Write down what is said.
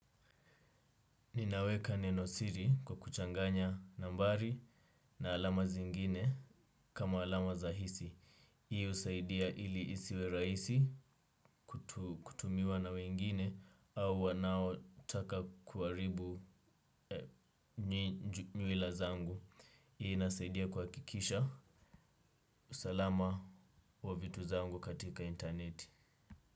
Ninaweka neno siri kwa kuchanganya nambari na alama zingine kama alama za hisi. Hii husaidia ili isiwe rahisi kutumiwa na wengine au wanaotaka kuharibu nywila zangu. Hii inasaidia kwa kuhakikisha. Usalama wa vitu zangu katika intaneti.